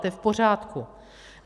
To je v pořádku.